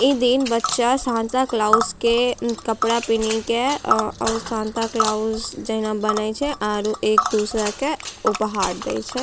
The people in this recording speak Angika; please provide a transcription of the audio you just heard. इ दिन बच्चा सांता क्लॉउज़ के कपड़ा पिन्ही के औ-और सांता क्लॉउज़ जेहना बने छै आर एक दूसरा के उपहार देय छै।